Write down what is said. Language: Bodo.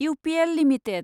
UPL limited